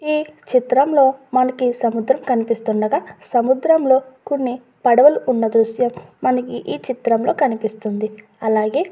ఈ చిత్రంలో మనకి సముద్రం కనిపిస్తుండగా సముద్రంలో కొన్ని పడవలు ఉన్న దృశ్యం మనకి ఈ చిత్రంలో కనిపిస్తుంది. అలాగే --